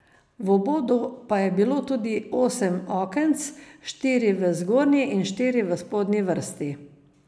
V obodu pa je bilo tudi osem okenc, štiri v zgornji in štiri v spodnji vrsti.